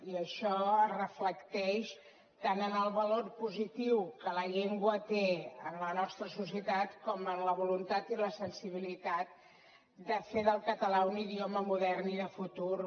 i això es reflecteix tant en el valor positiu que la llengua té en la nostra societat com en la voluntat i la sensibilitat de fer del català un idioma modern i de futur